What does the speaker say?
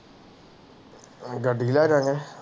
ਗੱਡੀ ਲੈ ਜਾਨੇ